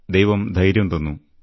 ദൈവം ധൈര്യം തന്നു